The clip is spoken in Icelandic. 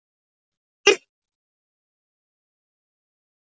Kíkir í spegil á baðinu.